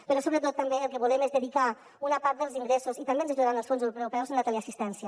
però sobretot també el que volem és dedicar una part dels ingressos i també ens ajudaran els fons europeus a la teleassistència